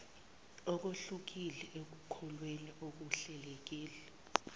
kuhlukile ekuhlolweni okuhlelelekile